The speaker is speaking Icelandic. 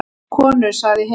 Konur sagði hinn.